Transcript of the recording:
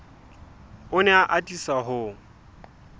o ne a atisa ho